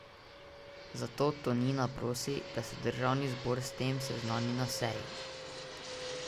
Zato Tonina prosi, da se državni zbor s tem seznani na seji.